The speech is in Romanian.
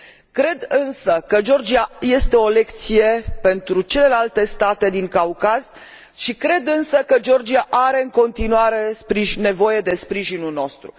Cred însă că Georgia este o lecție pentru celelalte state din Caucaz, și cred însă că Georgia are în continuare nevoie de sprijinul nostru.